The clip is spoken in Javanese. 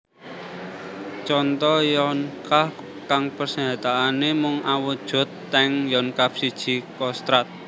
Conto Yonkav kang persenjataané mung awujud tank Yonkav siji Kostrad